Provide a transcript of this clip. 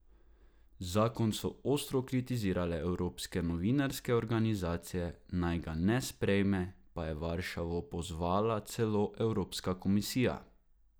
Zakon so ostro kritizirale evropske novinarske organizacije, naj ga ne sprejme, pa je Varšavo pozvala celo Evropska komisija.